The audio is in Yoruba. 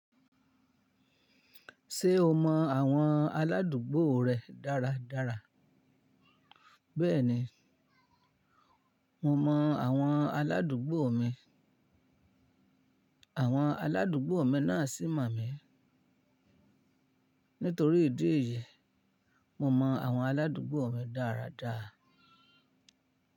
Ṣé o mọ àwọn aládùúgbò rẹ dáradára? Bẹ́ẹ̀ni, mo mọ àwọn aládùúgbò mi, àwọn aládùúgbò mi náà sì mọ̀ mí. Nítorí ìdí èyí, mo mọ àwọn aládùúgbò mi dáradára.